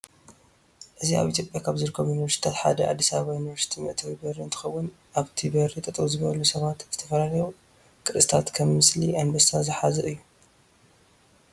እዚ አብ ኢትዮጵያ ካብ ዝርከቡ ዩኒቨርስታት ሐደ አዲስ አበባ ዩኒቨርስቲ መእተዊ በሪ እንትከውን አብቲ በሪ ጠጠው ዝበሉ ሰባት ዝተፈላለዩቅርፂታት ከም ምስሊ አንበሳ ዝሐዘ እዩ።